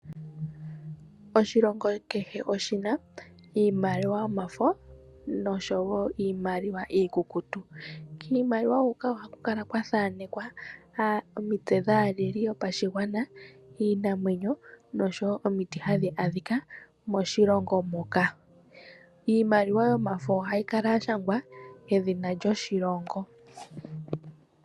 Oshilongo kehe oshina iimaliwa yomafo nosho wo iimaliwa iikukutu. Kiimaliwa huka ohaku kala kwa thanekwa omitse dhaaleli yopashigwana, iinamwenyo nosho wo omiti hadhi adhika moshilongo moka. Iimaliwa yomafo ohayi kala ya shangwa edhina lyoshilongo.